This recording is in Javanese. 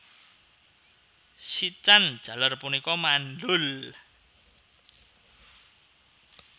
Sican jaler punika mandhul